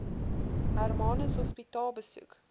hermanus hospitaal besoek